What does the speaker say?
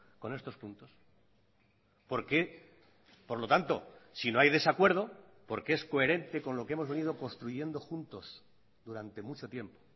con estos puntos porque por lo tanto si no hay desacuerdo porque es coherente con lo que hemos venido construyendo juntos durante mucho tiempo